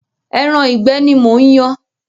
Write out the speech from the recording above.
Ẹran ìgbẹ́ ni mò ń yan.